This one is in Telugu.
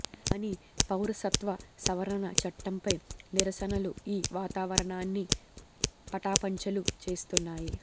కాని పౌరసత్వ సవరణ చట్టంపై నిరసనలు ఈ వాతావరణాన్ని పటాపంచలు చేస్తున్నాయి